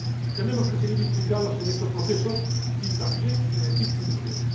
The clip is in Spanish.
Tenemos que seguir implicados en estos procesos, y también en Egipto y Túnez.